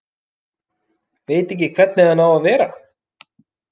Veit ekki hvernig hann á að vera.